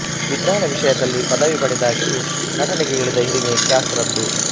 ವಿಜ್ಞಾನ ವಿಷಯದಲ್ಲಿ ಪದವಿ ಪಡೆದಾಗಿಯೂ ನಟನೆಗೆ ಇಳಿದ ಹಿರಿಮೆ ಕ್ಯಾ ಸು ರದ್ದು